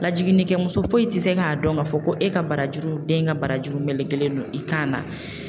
Lajiginin kɛ muso foyi ti se k'a dɔn ka fɔ ko e ka barajuru, den ka barajuru melekelen don i kan na